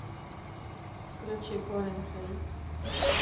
включи колин хэй